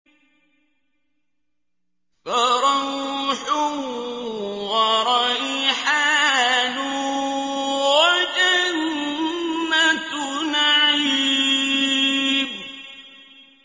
فَرَوْحٌ وَرَيْحَانٌ وَجَنَّتُ نَعِيمٍ